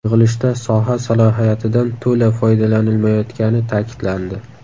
Yig‘ilishda soha salohiyatidan to‘la foydalanilmayotgani ta’kidlandi.